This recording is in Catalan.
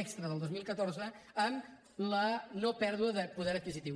extra del dos mil catorze amb la nopèrdua de poder adquisitiu